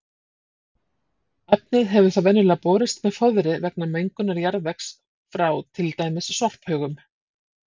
Efnið hefur þá venjulega borist með fóðri vegna mengunar jarðvegs frá til dæmis sorphaugum.